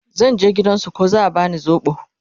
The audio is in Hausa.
zan je gidan su ko za'a bani sobo